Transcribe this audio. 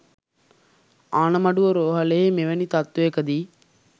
ආණමඩුව රෝහලෙහි මෙවැනි තත්ත්වයකදී